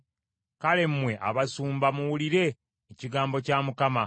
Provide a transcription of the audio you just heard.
kale mmwe abasumba muwulire ekigambo kya Mukama .